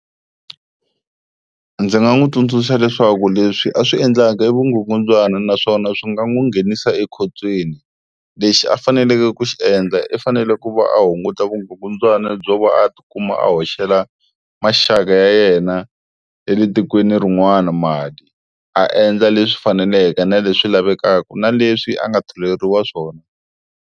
Ndzi nga n'wi tsundzuxa leswaku leswi a swi endlaka i vukungundzwana naswona swi nga n'wi nghenisa ekhotsweni. Lexi a faneleke ku xi endla i fanele ku va a hunguta vugungundzwana byo va a tikuma a hoxela maxaka ya yena ya le tikweni rin'wana mali a endla leswi faneleke na leswi lavekaka na leswi a nga tholeriwa swona.